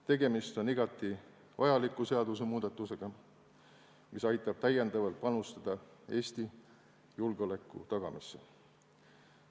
Tegemist on igati vajaliku seadusemuudatusega, mis aitab täiendavalt panustada Eesti julgeoleku tagamisse.